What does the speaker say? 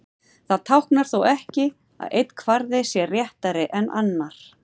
Það táknar þó ekki að einn kvarði sé réttari en annar.